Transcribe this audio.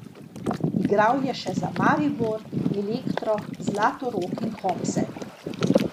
Igral je še za Maribor, Elektro, Zlatorog in Hopse.